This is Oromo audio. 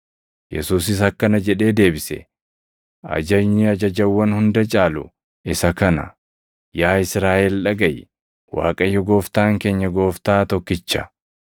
Yesuusis akkana jedhee deebise; “Ajajni ajajawwan hunda caalu isa kana; ‘Yaa Israaʼel dhagaʼi! Waaqayyo Gooftaan keenya Gooftaa tokkicha.